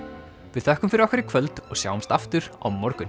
við þökkum fyrir okkur í kvöld og sjáumst aftur á morgun